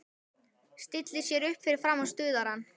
Stillir sér upp fyrir framan stuðarann.